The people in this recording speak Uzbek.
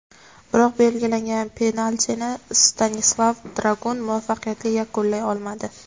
Biroq belgilangan penaltini Stanislav Dragun muvaffaqiyatli yakunlay olmadi.